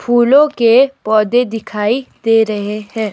फूलों के पौधे दिखाई दे रहे हैं।